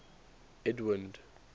edwind